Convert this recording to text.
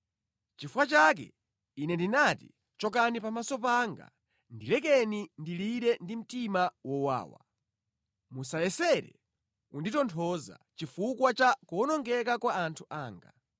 Nʼchifukwa chake Ine ndinati, “Chokani pamaso panga; ndilekeni ndilire ndi mtima wowawa. Musayesere kunditonthoza chifukwa cha kuwonongeka kwa anthu anga.”